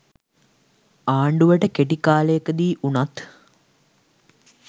ආණ්ඩුවට කෙටි කාලෙකදී උනත්